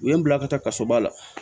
U ye n bila ka taa kaso ba la